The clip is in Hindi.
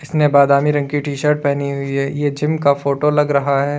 ने बादामी रंग की टीशर्ट पहनी हुई है ये जिम का फोटो लग रहा है।